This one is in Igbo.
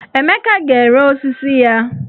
Emeka ga-ere osisi ya.